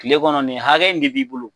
Kile kɔnɔ nin hakɛ in de b'i bolo